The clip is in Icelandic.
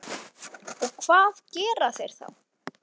Og hvað gera þeir þá?